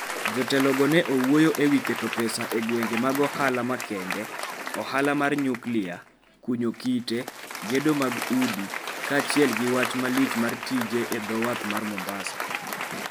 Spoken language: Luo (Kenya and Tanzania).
Jotelogo ne owuoyo e wi keto pesa e gwenge mag ohala makende, ohala mar nyuklia, kunyo kite, gedo mag udi kaachiel gi wach malich mar tije e dho wath mar Mombasa.